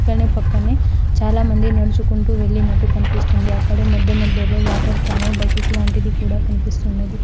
ఇక్కడ్నె పక్కనే చాలామంది నడుచుకుంటూ వెళ్లినట్టు కనిపిస్తుంది అక్కడే మధ్య మధ్యలో వాటర్ క్యాను బకెట్ లాంటిది కూడా కనిపిస్తున్నది.